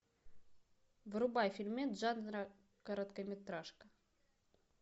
врубай фильмец жанра короткометражка